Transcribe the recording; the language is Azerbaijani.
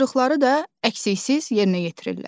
Tapşırıqları da əksiksiz yerinə yetirirlər.